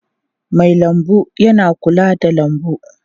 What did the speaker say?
Mai lambu yana kula da lambu.